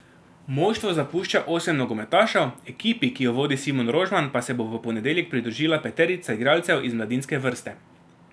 Moštvo zapušča osem nogometašev, ekipi, ki jo vodi Simon Rožman, pa se bo v ponedeljek pridružila peterica igralcev iz mladinske vrste.